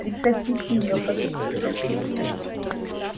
прекратите её подкидывать